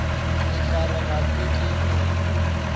sehlare ga se tle go